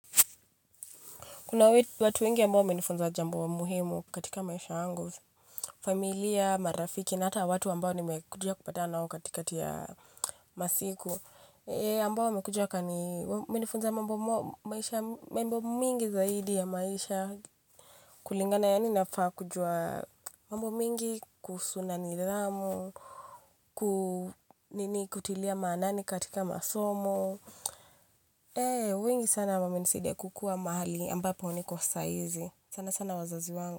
Kuna watu wengi ambao wamenifunza jambo muhimu katika maisha yangu, familia, marafiki, na hata watu ambao nimekuja kupatana nao katikati ya masiku. Eh, ambao wamekuja wakani, wamenifunza mambo maisha, mambo mingi zaidi ya maisha kulingana yaani nafaa kujua mambo mingi kuhusu na nidhamu, kutilia maanani katika masomo. Wengi sana wamenisidia kukuwa mahali ambapo niko saizi sana sana wazazi wangu.